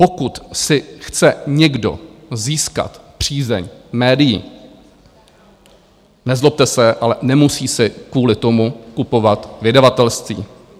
Pokud si chce někdo získat přízeň médií, nezlobte se, ale nemusí si kvůli tomu kupovat vydavatelství.